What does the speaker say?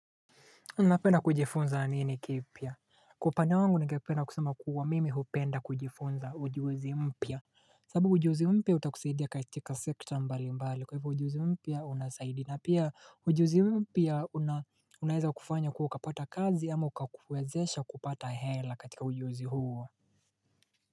Unapena kujifunza anini kipia Kwa panya wangu nikepena kusuma kuwa mimi hupenda kujifunza ujiozi mpia sabu ujiozi mpia utakuseidia katika sekta mbali mbali kwa hivyo ujiozi mpia unasaidi na pia ujiozi mpia unaeza kufanya kuwa kapata kazi ama ukakuwezesha kupata hela katika ujiozi huo.